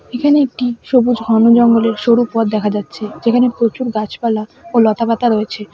এখানে একটি সবুজ ঘন জঙ্গলের সরু পথ দেখা যাচ্ছে যেখানে প্রচুর গাছপালা ও লতা পাতা রয়েছে।